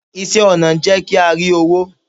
iṣẹ ọnà n jé kí a ri owo